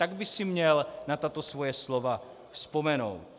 Tak by si měl na tato svoje slova vzpomenout.